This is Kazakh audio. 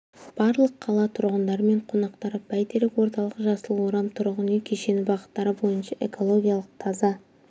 барлық қала тұрғындары мен қонақтары бәйтерек орталығы жасыл орам тұрғын үй кешені бағыттары бойынша экологиялық таза